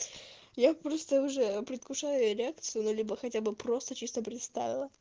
я просто уже предвкушаю реакцию на него хотя бы просто чисто представила